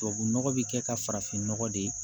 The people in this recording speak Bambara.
Tubabunɔgɔ bɛ kɛ ka farafinnɔgɔ de ye